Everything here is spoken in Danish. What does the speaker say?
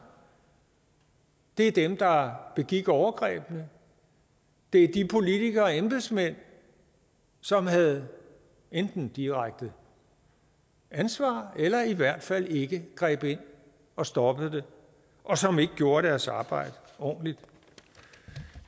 er dem der begik overgrebene det er de politikere og embedsmænd som havde enten direkte ansvar eller i hvert fald ikke greb ind og stoppede det og som ikke gjorde deres arbejde ordentligt